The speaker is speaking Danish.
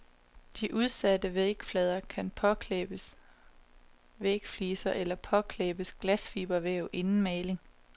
De udsatte vægflader kan påklæbes vægfliser eller påklæbes glasfibervæv inden maling.